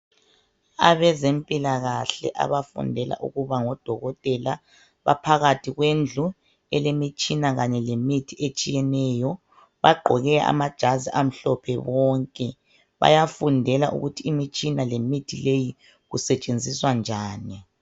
Abezempilakahle abafundela ukuba ngodokotela baphakathi kwendlu elemitshina kanye lemithi etshiyeneyo bagqoke amajazi amhlophe bonke, bayafudela ukuthi imitshina lemithi leyi kusetshenziswa njani.